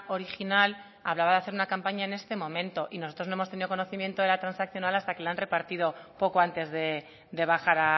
original hablaba de hacer una campaña en este momento y nosotros no hemos tenido conocimiento de la transaccional hasta que la han repartido poco antes de bajar